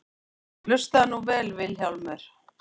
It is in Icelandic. Og hlustaðu nú vel Vilhjálmur.